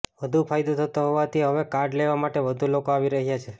વધુ ફાયદો થતો હોવાથી હવે કાર્ડ લેવા માટે વધુ લોકો આવી રહ્યાં છે